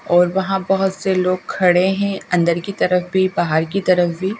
और वहां बहुत से लोग खड़े हैं अंदर की तरफ भी बाहर की तरफ भी।